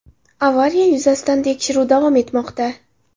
Avariya yuzasidan tekshiruv davom etmoqda.